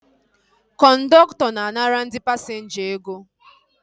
Kọndọktọ na-anara ndị pasinja ego